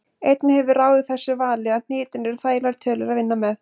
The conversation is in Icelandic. Einnig hefur ráðið þessu vali að hnitin eru þægilegar tölur að vinna með.